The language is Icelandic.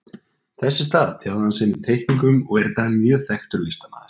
Þess í stað tjáði hann sig með teikningum og er í dag mjög þekktur listamaður.